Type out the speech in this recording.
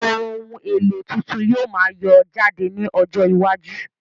Ohun èlò tuntun yóò máa yọ jáde ní ọjọ iwájú